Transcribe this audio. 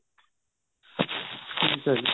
ਅੱਛਾ ਜੀ